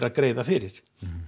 greiðir fyrir